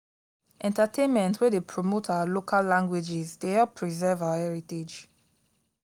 entertainment wey dey promote our local languages dey help preserve our heritage